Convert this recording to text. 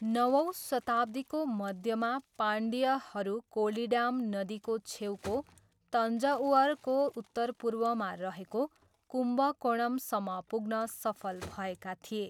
नवौँ शताब्दीको मध्यमा, पाण्ड्यहरू कोलिडाम नदीको छेउको तान्जउरको उत्तरपूर्वमा रहेको कुम्भकोणमसम्म पुग्न सफल भएका थिए।